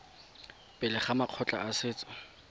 pele ga makgotla a setso